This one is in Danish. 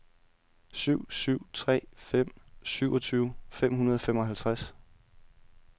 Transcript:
syv syv tre fem syvogtyve fem hundrede og femoghalvtreds